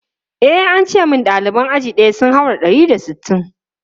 E, an ce min ɗaliban aji ɗaya sun haura ɗari da sittin.